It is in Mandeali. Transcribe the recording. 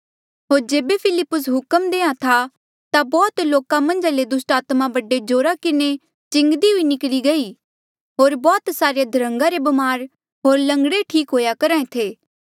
होर जेबे फिलिप्पुसे हुक्म देयां था ता बौह्त लोका मन्झा ले दुस्टात्मा बड़े जोरा किन्हें चिंगदी हुई निकली गयी होर बौह्त सारे अध्रन्गा रे ब्मार होर लंगड़े ठीक हुएया करहा ऐें थे